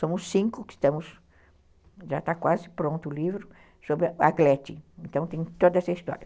Somos cinco que estamos, já está quase pronto o livro sobre a Glete, então tem toda essa história.